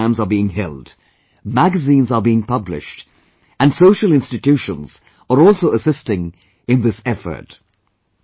Different kinds of programs are being held, magazines are being published, and social institutions are also assisting in this effort